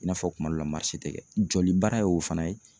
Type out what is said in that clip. I n'a fɔ kuma dɔ la ma tɛ kɛ joli baara ye o fana ye.